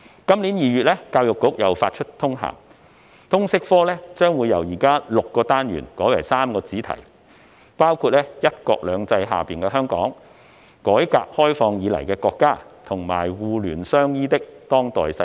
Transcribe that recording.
今年2月，教育局再次發出通函，表示通識科將由現時的6個單元改為3個主題，包括"'一國兩制'下的香港"、"改革開放以來的國家"，以及"互聯相依的當代世界"。